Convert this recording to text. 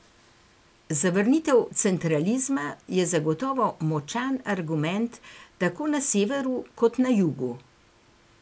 Zavrnitev centralizma je zagotovo močan argument tako na severu kot na jugu.